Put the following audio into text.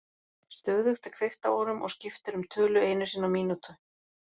Stöðugt er kveikt á honum og skipt er um tölu einu sinni á mínútu.